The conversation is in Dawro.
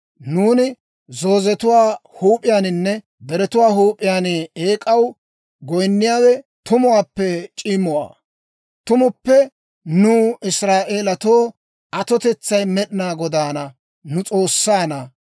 Nuuni zoozetuwaa huup'iyaaninne deretuwaa huup'iyaan eek'aw goyinniyaawe tumuwaappe c'imuwaa. Tumuppe nuw, Israa'elatoo atotetsay Med'inaa Godaana, nu S'oossaanna.